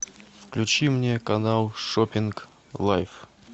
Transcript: включи мне канал шоппинг лайф